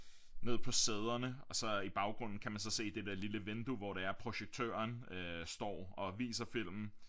Ned på sæderne og så i baggrunden kan man så se det dér lille vindue hvor det er projektøren står og viser filmen